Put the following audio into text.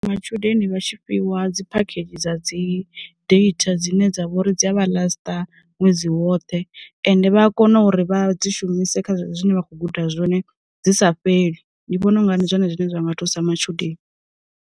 Matshudeni vha tshi fhiwa dzi phakhedzhi dza dzi data dzine dza vha uri dzi a vha lasta ṅwedzi woṱhe ende vha a kona uri vha dzi shumise kha zwine vha khou guda zwone dzi sa fheli, ndi vhona unga ndi zwone zwine zwa nga thusa matshudeni.